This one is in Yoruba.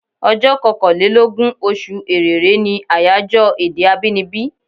Ọjọ́ kankàn lé lógún, oṣù Èrèré ní àyájọ́ èdè abínibí.